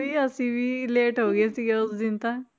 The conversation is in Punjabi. ਵੀ ਅਸੀਂ ਵੀ late ਹੋ ਗਏ ਸੀਗੇ ਉਸ ਦਿਨ ਤਾਂ